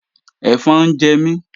Ẹ̀fọn ń jẹ mí